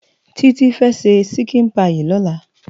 Titi fe ṣè ṣikin páyi lòlá